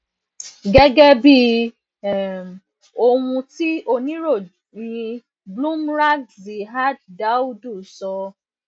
gegebi um ohun ti oniroyin bloomberg ziad daoud sọ